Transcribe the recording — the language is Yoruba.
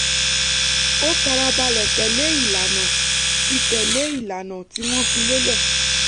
ó fara balẹ̀ tẹ̀lé ìlànà tí tẹ̀lé ìlànà tí wọ́n fi lélẹ̀